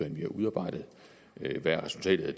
vi har udarbejdet hvad resultatet er